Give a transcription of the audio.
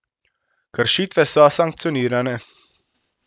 Kršitve so sankcionirane.